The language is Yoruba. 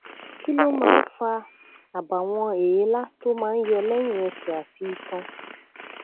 kí ló máa ń fa àbàwọn èélá tó máa ń yọ lẹyìn ẹsẹ àti itan